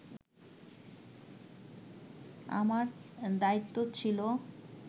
আমার দায়িত্ব ছিল